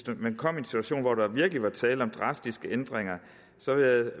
man kom i en situation hvor der virkelig var tale om drastiske ændringer så